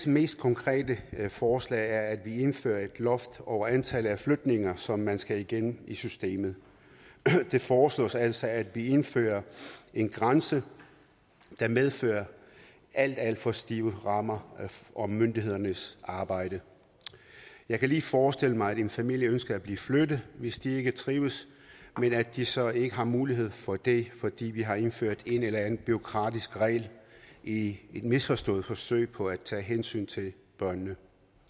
mest konkrete forslag er at vi indfører et loft over antallet af flytninger som man skal igennem i systemet det foreslås altså at vi indfører en grænse der medfører alt alt for stive rammer for myndighedernes arbejde jeg kan lige forestille mig at en familie ønsker at blive flyttet hvis de ikke trives men at de så ikke har mulighed for det fordi vi har indført en eller anden bureaukratisk regel i et misforstået forsøg på at tage hensyn til børnene